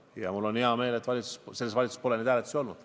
Ja mul on hea meel, et selles valitsuses pole hääletusi olnud.